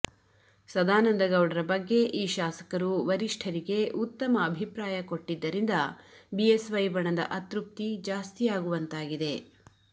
ಸದಾನಂದಗೌಡರ ಬಗ್ಗೆ ಈ ಶಾಸಕರು ವರಿಷ್ಠರಿಗೆ ಉತ್ತಮ ಅಭಿಪ್ರಾಯ ಕೊಟ್ಟಿದ್ದರಿಂದ ಬಿಎಸ್ವೈ ಬಣದ ಅತೃಪ್ತಿ ಜಾಸ್ತಿಯಾಗುವಂತಾಗಿದೆ